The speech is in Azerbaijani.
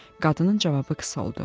Qadının cavabı qısa oldu.